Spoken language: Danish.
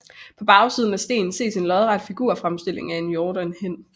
På bagsiden af stenen ses en lodret figurfremstilling af en hjort og en hind